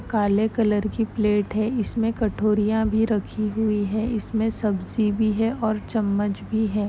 काले कलर की प्लेट है इसमे कटोरिया भी रखी हुई है इसमे सब्जी भी है और चम्मच भी है।